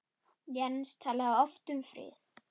Jens talaði oft um frið.